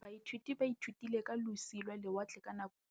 Baithuti baithutile ka losi lwa lewatle ka nako ya Thutafatshe.